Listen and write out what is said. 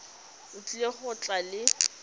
o tlile go tla le